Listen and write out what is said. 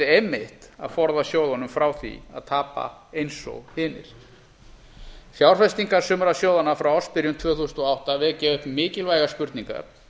einmitt að forða sjóðunum frá því að tapa eins og hinir fjárfestingar sumra sjóðanna frá ársbyrjun tvö þúsund og átta vekja upp mikilvægar spurningar